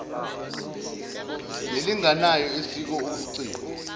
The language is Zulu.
nalinganayo esiko obuciko